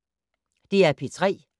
DR P3